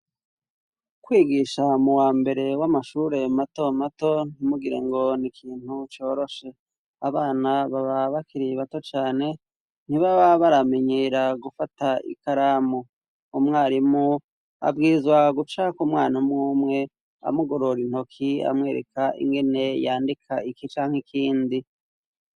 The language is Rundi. Kwigisha mu wa mbere w'amashure mato mato ntimugire ngo ni ikintu coroshe. Abana baba bakiri bato cane, ntibaba baramenyera gufata ikaramu. Umwarimu abwirizwa guca ku mwana umwumwe, amugorora intoki amwereka inkene yandika iki canke ikindi.